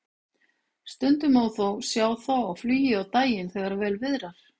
Stundum má þó sjá þá á flugi á daginn þegar vel viðrar.